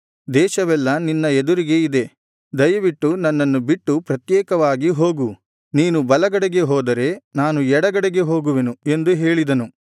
ದೇಶವೆಲ್ಲಾ ನಿನ್ನ ಎದುರಿಗೆ ಇದೆ ದಯವಿಟ್ಟು ನನ್ನನ್ನು ಬಿಟ್ಟು ಪ್ರತ್ಯೇಕವಾಗಿ ಹೋಗು ನೀನು ಎಡಗಡೆಗೆ ಹೋದರೆ ನಾನು ಬಲಗಡೆಗೆ ಹೋಗುವೆನು ನೀನು ಬಲಗಡೆಗೆ ಹೋದರೆ ನಾನು ಎಡಗಡೆಗೆ ಹೋಗುವೆನು ಎಂದು ಹೇಳಿದನು